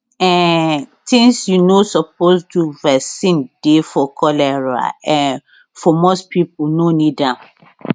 um tins you no suppose do vaccine dey for cholera um most pipo no need am